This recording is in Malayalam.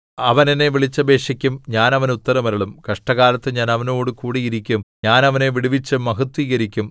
അവൻ എന്നെ വിളിച്ചപേക്ഷിക്കും ഞാൻ അവന് ഉത്തരമരുളും കഷ്ടകാലത്ത് ഞാൻ അവനോടുകൂടി ഇരിക്കും ഞാൻ അവനെ വിടുവിച്ച് മഹത്വീകരിക്കും